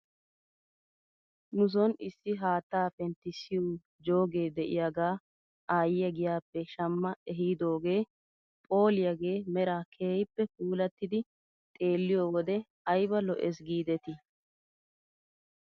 Nuson issi haattaa penttissiyoo joogee de'iyaagaa aayyiyaa giyaappe shama hehidoogee phooliyaagee meraa keehippe puulattidi xeelliyoo wodiyan ayba lo'es giidetii ?